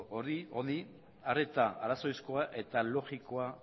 honi arreta arrazoizkoa eta logikoa